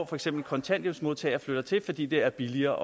for eksempel kontanthjælpsmodtagere flytter til fordi det er billigere